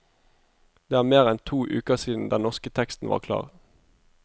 Det er mer enn to uker siden den norske teksten var klar.